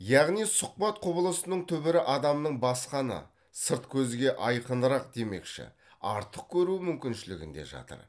яғни сұхбат құбылысының түбірі адамның басқаны сырт көзге айқынырақ демекші артық көру мүмкіншілігінде жатыр